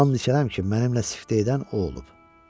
And içərəm ki, mənimlə siftə edən o olub.